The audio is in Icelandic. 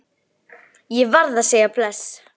Ég varð að segja bless.